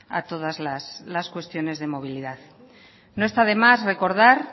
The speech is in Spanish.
a todas las cuestiones de movilidad no está de más recordar